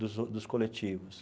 dos dos coletivos.